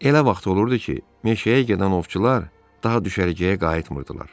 Elə vaxt olurdu ki, meşəyə gedən ovçular daha düşərgəyə qayıtmırdılar.